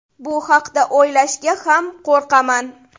Bu haqda o‘ylashga ham qo‘rqaman.